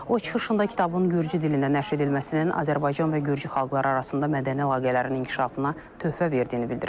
O çıxışında kitabın Gürcü dilində nəşr edilməsinin Azərbaycan və Gürcü xalqları arasında mədəni əlaqələrin inkişafına töhfə verdiyini bildirib.